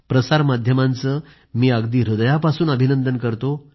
प्रसार माध्यमांचे मी अगदी हृदयापासून अभिनंदन करतो